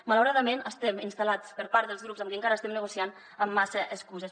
malauradament estem instal·lats per part dels grups amb qui encara estem negociant en massa excuses